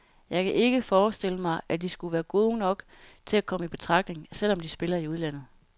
Jeg kan ikke forestille mig, at de skulle være gode nok til at komme i betragtning, selv om de spiller i udlandet.